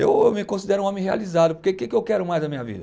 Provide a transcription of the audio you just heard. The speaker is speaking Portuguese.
Eu me considero um homem realizado, porque o que que eu quero mais da minha vida?